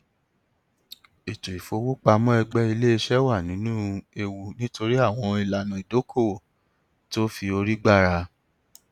ètò ìfowópamọ ẹgbẹ iléiṣẹ wà nínú ewu nítorí àwọn ìlànà ìdókòowó tó fi orí gbára